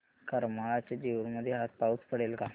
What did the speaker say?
करमाळ्याच्या जेऊर मध्ये आज पाऊस पडेल का